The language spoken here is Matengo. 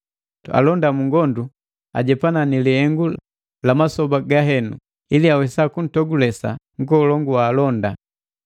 Alonda mungondu ajepana ni lihengu la masoba gahenu, ili juwesa kumpendesa nkolongu wa alonda.